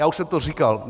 Já už jsem to říkal.